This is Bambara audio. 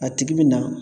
A tigi bi na